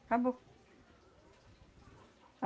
Acabou.